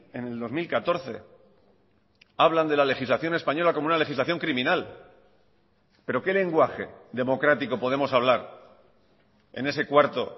en el dos mil catorce hablan de la legislación española como una legislación criminal pero qué lenguaje democrático podemos hablar en ese cuarto